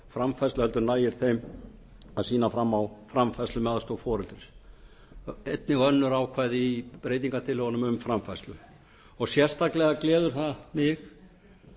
framfærslu heldur nægi þeim að sýna fram á framfærslu með aðstoð foreldris einnig önnur ákvæði í breytingartillögunum um framfærslu sérstaklega gleður það mig